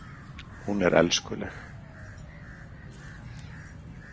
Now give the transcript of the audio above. Hún er elskuleg.